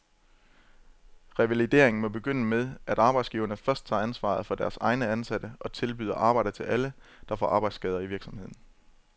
Revalidering må begynde med, at arbejdsgiverne først tager ansvaret for deres egne ansatte og tilbyder arbejde til alle, der får arbejdsskader i virksomheden.